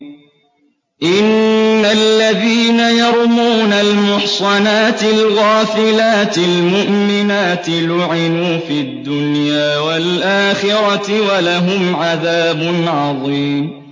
إِنَّ الَّذِينَ يَرْمُونَ الْمُحْصَنَاتِ الْغَافِلَاتِ الْمُؤْمِنَاتِ لُعِنُوا فِي الدُّنْيَا وَالْآخِرَةِ وَلَهُمْ عَذَابٌ عَظِيمٌ